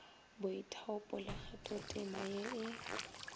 boithaupo le kgathotema ye e